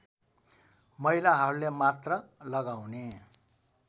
महिलाहरूले मात्र लगाउने